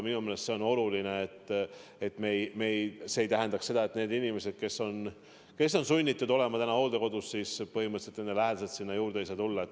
Minu meelest on oluline, et see ei tähendaks seda, et need inimesed, kes on sunnitud hooldekodus olema, põhimõtteliselt oma lähedasi ei näe.